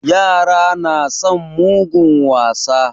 Yara na son mugun wasa.